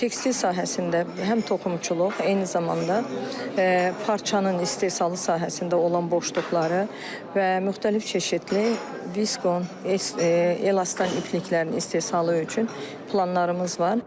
Tekstil sahəsində həm toxumçuluq, eyni zamanda parçanın istehsalı sahəsində olan boşluqları və müxtəlif çeşidli viskon, elastan ipliklərinin istehsalı üçün planlarımız var.